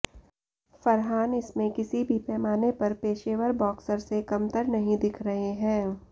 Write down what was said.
फरहान इसमें किसी भी पैमाने पर पेशेवर बॉक्सर से कमतर नहीं दिख रहे हैं